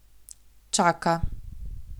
Čaka.